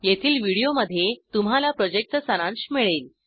येथील व्हिडीओमध्ये तुम्हाला प्रॉजेक्टचा सारांश मिळेल